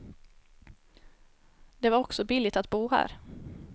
Det var också billigt att bo här.